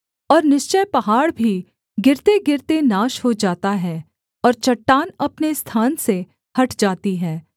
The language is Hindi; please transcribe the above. और निश्चय पहाड़ भी गिरतेगिरते नाश हो जाता है और चट्टान अपने स्थान से हट जाती है